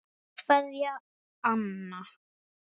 Kveðja, Anna.